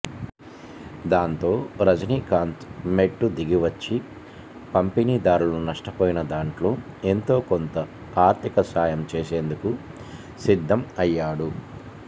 దాంతో రజినీకాంత్ మెట్టు దిగి వచ్చి పంపిణీదారులు నష్టపోయిన దాంట్లో ఎంతో కొంత ఆర్థిక సాయం చేసేందుకు సిద్దం అయ్యాడు